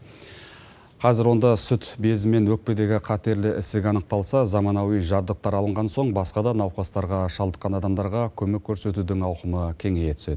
қазір онда сүт безі мен өкпедегі қатерлі ісік анықталса заманауи жабдықтар алынған соң басқа да науқастарға шалдыққан адамдарға көмек көрсетудің ауқымы кеңейе түседі